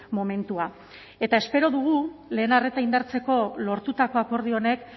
momentua eta espero dugu lehen arreta indartzeko lortutako akordio honek